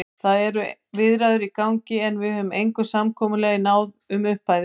Það eru viðræður í gangi, en við höfum engu samkomulagi náð um upphæðir.